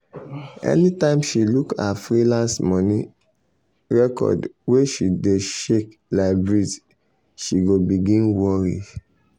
anytime she look her freelance money record wey dey shake like breeze she go begin worry.